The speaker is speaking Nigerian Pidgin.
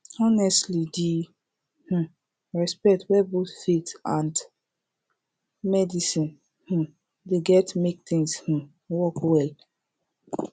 honestly di um respect wey both faith and medicine um get dey mek things um work well